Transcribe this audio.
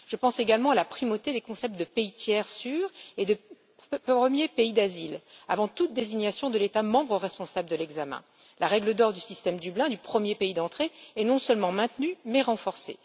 Je pense également à la primauté des concepts de pays tiers sûr et de premier pays d'asile avant toute désignation de l'État membre responsable de l'examen. La règle d'or du système Dublin du premier pays d'entrée est non seulement maintenue mais renforcée.